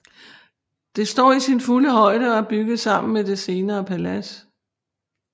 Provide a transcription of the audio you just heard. Det står i sin fulde højde og er bygget sammen med det senere palads